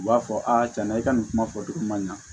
U b'a fɔ a cɛna i ka nin kuma fɔ dugu ma ɲan